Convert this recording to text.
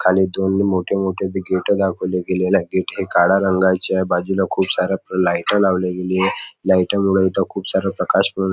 खाली दोन मोठे मोठे ते गेट दाखवले गेलेल आहेत गेट हे काळ्या रंगाचे आहे. बाजूला खुप सारे लाइट लावल गेलेल आहे. लाइट मूळ इथ खुप साऱ्या प्रकाश प --